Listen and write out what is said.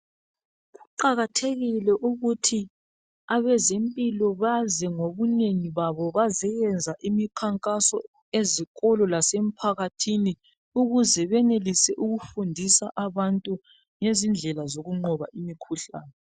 Kuqakathekile ukuthi abezempilo baze ngobunengi babo bazoyenza imikhankaso ezikolo lasemphakathini ukuze benelise ukufundisa abantu ngendlezila zokunqoba imikhuhlane.